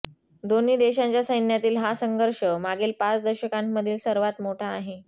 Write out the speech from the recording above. दोन्ही देशांच्या सैन्यातील हा संघर्ष मागील पाच दशकांमधील सर्वात मोठा आहे